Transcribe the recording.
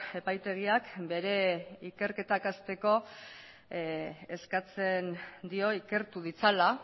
epaitegiak bere ikerketak hasteko eskatzen dio ikertu ditzala